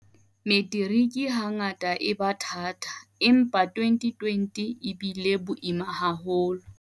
Metiriki hangata e ba thata, empa 2020 e bile boima haholo.